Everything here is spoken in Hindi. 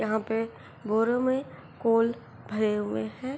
यहाँ पे बोरे में कोल् भरे हुए हैं।